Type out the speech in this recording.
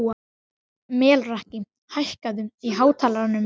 Melrakki, hækkaðu í hátalaranum.